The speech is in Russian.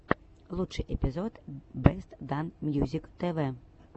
лучший эпизод бест данс мьюзик тв